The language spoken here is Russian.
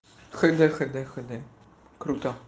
х д х д х д круто